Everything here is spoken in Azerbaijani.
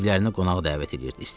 Evlərini qonaq dəvət edirdi.